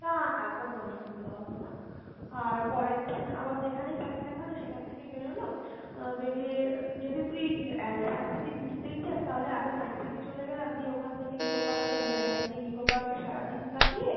না না, কোনো অসুবিধা হবে না আর পরের দিন আবার যেখানেই থাকি না কেনো সেখান থেকে বেরোলাম, আহ বেরিয়ে যদি তুই আহ Science City ঘুরতেই চাস তাহলে আগে Science City চলে গেলাম দিয়ে ওখান থেকে Nicco Park চলে গেলাম, দিয়ে Nicco Park এ সারাদিন কাটিয়ে